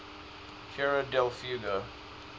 tierra del fuego